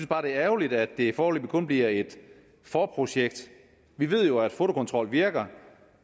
bare det er ærgerligt at det foreløbig kun bliver et forprojekt vi ved jo at fotokontrol virker